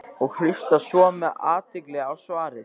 og hlusta svo með athygli á svarið.